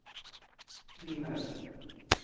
pil ned